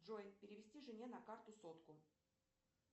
джой перевести жене на карту сотку